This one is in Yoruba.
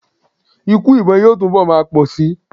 Ikú ìbọn yóò túnbọ̀ máa pọ̀ síi ni.